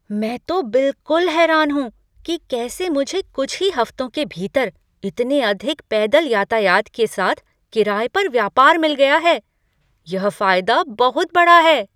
मैं तो बिलकुल हैरान हूँ कि कैसे मुझे कुछ ही हफ्तों के भीतर इतने अधिक पैदल यातायात के साथ किराए पर व्यापार मिल गया है, यह फायदा बहुत बड़ा है।